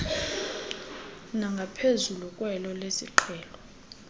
nangaphezulu kwelo lesiqhelo